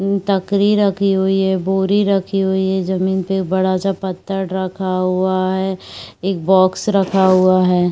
टोकरी रखी हुई है बोरी रखी हुई है जमीन पे बड़ा सा पत्थर रखा हुआ है एक बॉक्स रखा हुआ है।